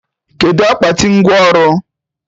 Kedụ akpati ngwọ ọrụ?